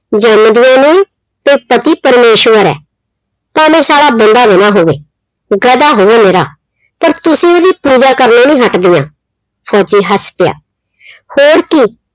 ਜੰਮਦੀਆਂ ਨੂੰ ਕਿ ਪਤੀ ਪ੍ਰਮੇਸ਼ਵਰ ਆ। ਭਾਵੇਂ ਸਾਲਾ ਬੰਦਾ ਵੀ ਨਾ ਹੋਵੇ। ਗਧਾ ਹੋਵੇ ਨਿਰਾ। ਪਰ ਤੁਸੀਂ ਉਹਦੀ ਪੂਜਾ ਕਰਨੋਂ ਨੀ ਹਟਦੀਆਂ। ਫੌਜੀ ਹੱਸ ਪਿਆ ਹੋਰ ਕੀ